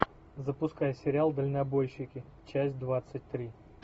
запускай сериал дальнобойщики часть двадцать три